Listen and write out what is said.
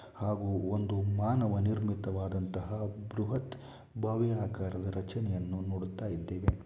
ಹಾಗೂ ಒಂದು ಮಾನವ ನಿರ್ಮಿತವಾದಂತಹ ಬೃಹತ್ ಭವ್ಯಕಾರದ ರಚನೆಯನ್ನು ನೋಡುತ್ತಾ ಇದ್ದೇವೆ.